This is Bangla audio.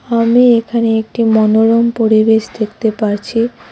আমি এখানে একটি মনোরম পরিবেশ দেখতে পারছি।